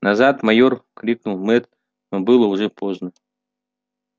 назад майор крикнул мэтт но было уже поздно